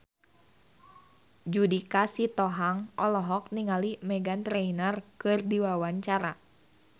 Judika Sitohang olohok ningali Meghan Trainor keur diwawancara